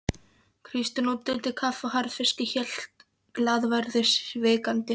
Kristín útdeildi kaffi og harðfiski, hélt glaðværðinni sívakandi.